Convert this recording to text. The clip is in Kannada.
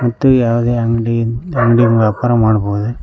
ಮತ್ತೆ ಯಾವುದೇ ಅಂಗಡಿ ಅಂಗಡಿಲಿ ವ್ಯಾಪಾರ ಮಾಡಬಹುದೆ.